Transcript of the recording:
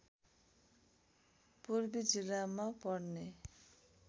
पूर्वी जिल्लामा पर्ने